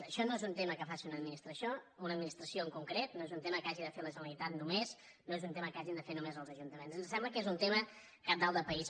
això no és un tema que faci una administració una administració en concret no és un tema que hagi de fer la generalitat només no és un tema que hagin de fer només els ajuntaments ens sembla que és un tema cabdal de país